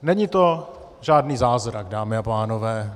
Není to žádný zázrak, dámy a pánové.